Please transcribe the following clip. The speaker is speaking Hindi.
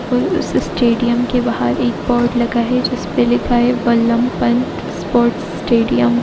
और उस स्टेडियम के बाहर एक बोर्ड लगा है। जिस पे लिखा है बल्लभ पंत स्पोर्ट स्टेडियम ।